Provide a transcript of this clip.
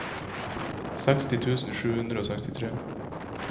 seksti tusen sju hundre og sekstitre